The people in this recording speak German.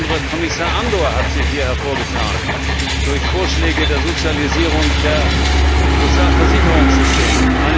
Insbesondere Kommissar Andor hat sich hier hervorgetan durch Vorschläge der Sozialisierung der Sozialversicherungssysteme.